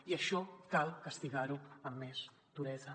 i això cal castigar ho amb més duresa